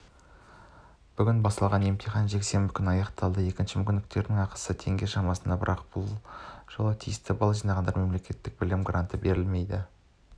бүгін басталған емтихан жексенбі күні аяқталады екінші мүмкіндіктің ақысы теңге шамасында бірақ бұл жолы тиісті балл жинағандарға мемлекеттік білім гранты берілмейді